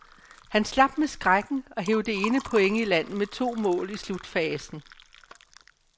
Han slap med skrækken og hev det ene point i land med to mål i slutfasen.